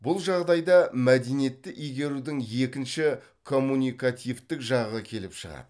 бұл жағдайда мәдениетті игерудің екінші коммуникативтік жағы келіп шығады